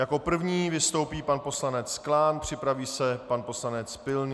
Jako první vystoupí pan poslanec Klán, připraví se pan poslanec Pilný.